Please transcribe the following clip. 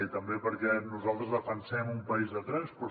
i també perquè nosaltres defensem un país de trens però